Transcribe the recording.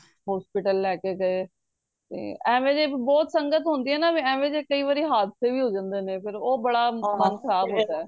hospital ਲੈ ਕੇ ਗਏ ਤੇ ਐਵੀਂ ਜਦ ਬਹੁਤ ਸੰਗਤ ਹੁੰਦੀ ਏ ਨਾ ਤੇ ਐਵੀਂ ਦੇ ਕਯੀ ਵਾਰੀ ਹਾਦਸੇ ਵੀ ਹੋ ਜਾਂਦੇ ਨੇ ਉਹ ਬੜਾ ਮਨ ਖਰਾਬ ਹੁੰਦਾ